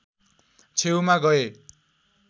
छेउमा गए